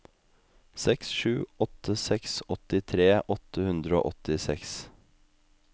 seks sju åtte seks åttitre åtte hundre og åttiseks